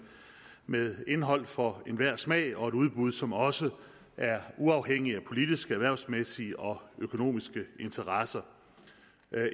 med indhold for enhver smag og et udbud som også er uafhængigt af politiske erhvervsmæssige og økonomiske interesser